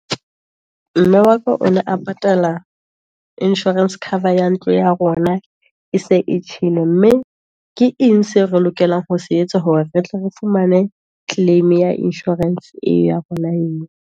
Mme wa ka o ne a patala Insurance cover ya ntlo ya rona, e se e tjhele, mme ke eng seo re lokelang ho se etsa, hore re tle re fumane claim ya insurance eo ya rona eo.